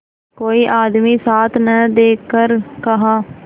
कोई आदमी साथ न देखकर कहा